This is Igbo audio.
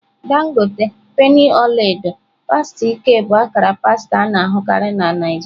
Dangote, penny ọla edo, pasta ike bụ akara pasta a na-ahụkarị na Naijiria.